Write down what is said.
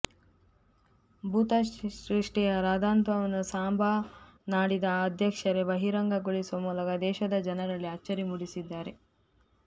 ಭೂತ ಚೇಷ್ಟೆಯ ರಾದ್ಧಾಂತವನ್ನು ಸಾಂಬಾ ನಾಡಿದ ಅಧ್ಯಕ್ಷರೇ ಬಹಿರಂಗಗೊಳಿಸುವ ಮೂಲಕ ದೇಶದ ಜನರಲ್ಲಿ ಅಚ್ಚರಿ ಮೂಡಿಸಿದ್ದಾರೆ